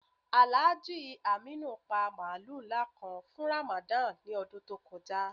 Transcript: Alhaji Aminu pa mààlù nlá kàn fún Ramadan ni ọdún tó kọja.